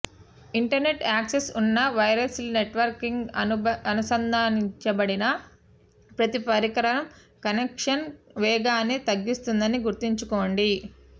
internet access ఉన్న wireless నెట్వర్క్కి అనుసంధానించబడిన ప్రతి పరికరం కనెక్షన్ వేగాన్ని తగ్గిస్తుందని గుర్తుంచుకోండి